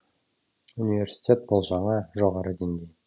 университет бұл жаңа жоғары деңгей